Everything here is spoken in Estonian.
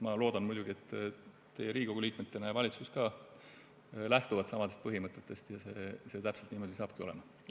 Ma loodan muidugi, et teie Riigikogu liikmetena ja ka valitsus lähtute samadest põhimõtetest ja see täpselt niimoodi saabki olema.